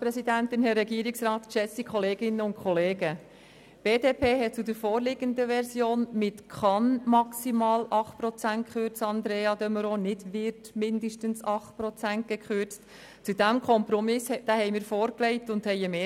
In der nun vorliegenden Version hat die BDP-Fraktion mit der Formulierung «kann maximal 8 Prozent kürzen» und nicht «wird mindestens 8 Prozent kürzen» hier im Rat eine Mehrheit gefunden, Andrea de Meuron.